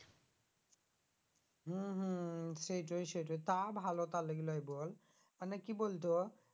হম হম হম সেইটোই সেইটোই তা ভালো তার লিগে লই বল মানে কি বলতো